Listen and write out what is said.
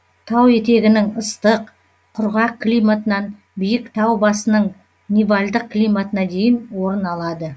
тау етегінің ыстық құрғақ климатынан биік тау басының нивальдық климатына дейін орын алады